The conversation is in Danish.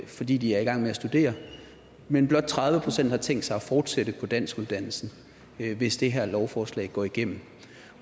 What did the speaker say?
fordi de er i gang med at studere men blot tredive procent har tænkt sig at fortsætte på danskuddannelsen hvis det her lovforslag går igennem